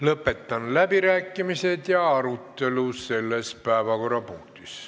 Lõpetan läbirääkimised ja arutelu selles päevakorrapunktis.